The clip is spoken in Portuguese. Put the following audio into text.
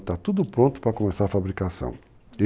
Está tudo pronto para começar a fabricação.